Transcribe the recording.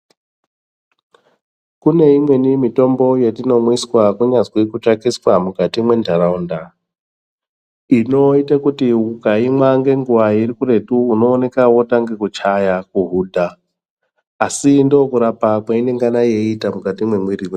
Kune imweni mitombo yetinomwiswa kunyazi kutswatiswa mukati mwenharaunda. Inoite kuti ukaimwa nenguva irikuretu unooneke votanga kuchaya, kuhudha asi ndokurapa kweinengana yeiita mukati mwemwiri vedu.